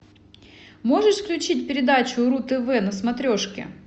можешь включить передачу ру тв на смотрешке